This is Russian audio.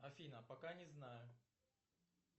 афина пока не знаю